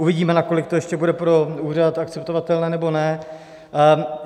Uvidíme, nakolik to ještě bude pro úřad akceptovatelné nebo ne.